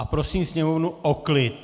A prosím sněmovnu o klid.